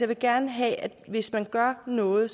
vil gerne have at hvis man gør noget